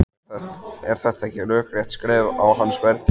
Er þetta ekki rökrétt skref á hans ferli?